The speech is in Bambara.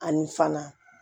Ani fana